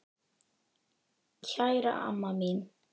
Kæra amma mín.